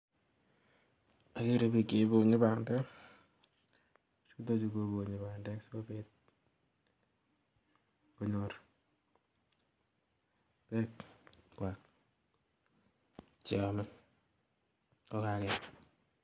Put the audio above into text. agere pik che iponyi pandek. pichutachu koponyi pandek sigopit konyor peek kwak cheame kokaket.